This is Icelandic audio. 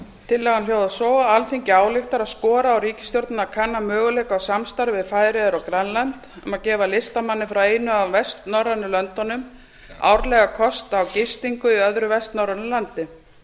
tillagan hljóðar svo alþingi ályktar að skora á ríkisstjórnina að kanna möguleika á samstarfi við færeyjar og grænland um að gefa listamanni frá einu af vestnorrænu löndunum árlega kost á gistingu í öðru vestnorrænu landi